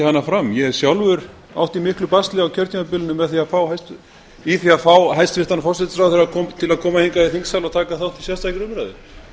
hana fram ég sjálfur átti í miklu basli á kjörtímabilinu í að fá hæstvirtan forsætisráðherra til að koma hingað í þingsal og taka þátt í sérstakri umræðu